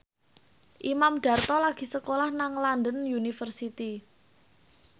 Imam Darto lagi sekolah nang London University